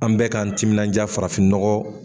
An bɛ k'an timinja farafin nɔgɔ.